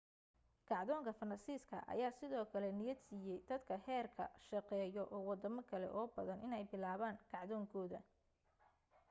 kacdoonka faransiiska ayaa sidoo kale niyad siiyey dadka heerka shaqeeyo oo wadamo kale oo badan inay bilaabaan kacdoonkooda